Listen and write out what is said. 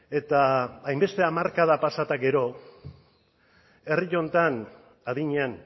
eta hainbeste hamarkada pasa eta gero herri honetan adinean